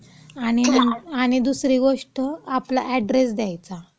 आणि, आणि दुसरी गोष्ट, आपला अॅड्रेस द्यायचा.